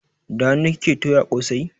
Da hanu kike toya kosai?